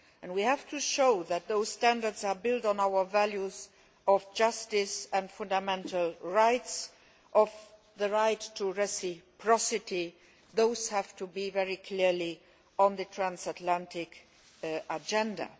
We have to show that those standards are built on our values of justice and fundamental rights and of the right to reciprocity, both of which have to be very clearly put on the transatlantic agenda.